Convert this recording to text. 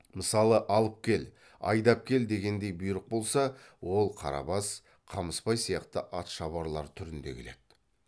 мысалы алып кел айдап кел дегендей бұйрық болса ол қарабас қамысбай сияқты атшабарлар түрінде келеді